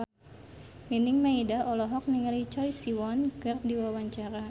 Nining Meida olohok ningali Choi Siwon keur diwawancara